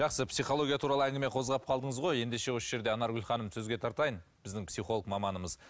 жақсы психология туралы әңгіме қозғап қалдыңыз ғой ендеше осы жерде анаргүл ханымды сөзге тартайын біздің психолог маманымыз